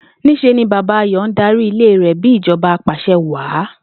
Ní s̩e ni Bàbá Ayò ń darí ilé rè̩ bí ìjo̩ba apàs̩e̩wàá